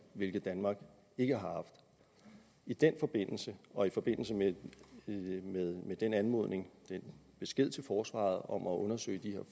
hvilket danmark ikke har haft i den forbindelse og i forbindelse med den anmodning den besked til forsvaret om at undersøge de her